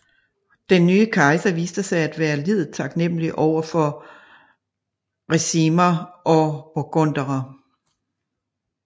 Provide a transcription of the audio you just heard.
Den nye kejser viste sig at være lidet taknemmelig over for Ricimer og burgunderne